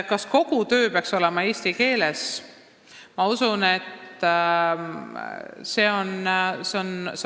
Kas kogu doktoritöö peaks olema eesti keeles?